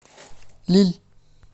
лилль